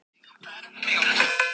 Og hún mun kunna að nálgast það.